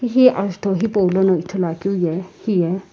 he azutho hipou lono ithulu akeu ye hiye.